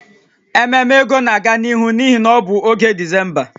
Ememe ego na-aga n'ihu n'ihi na ọ bụ oge Disemba